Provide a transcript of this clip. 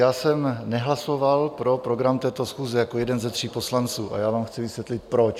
Já jsem nehlasoval pro program této schůze jako jeden ze tří poslanců a já vám chci vysvětlit, proč.